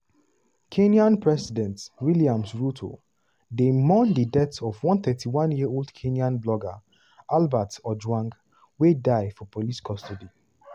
kenya president williams ruto dey mourn di death of one 31-year-old kenyan blogger albert ojwang wey die for police custody.